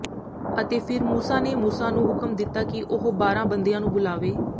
ਅਤੇ ਫਿਰ ਮੂਸਾ ਨੇ ਮੂਸਾ ਨੂੰ ਹੁਕਮ ਦਿੱਤਾ ਕਿ ਉਹ ਬਾਰਾਂ ਬੰਦਿਆਂ ਨੂੰ ਬੁਲਾਵੇ